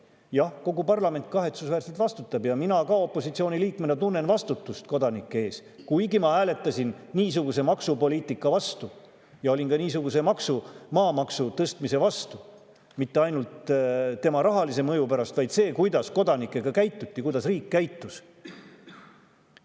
Jah, kogu parlament kahetsusväärselt vastutab ja mina ka opositsiooni liikmena tunnen vastutust kodanike ees, kuigi ma hääletasin niisuguse maksupoliitika vastu ja olin ka niisuguse maamaksu tõstmise vastu mitte ainult tema rahalise mõju pärast, vaid ka selle pärast, kuidas kodanikega käituti, kuidas riik käitus.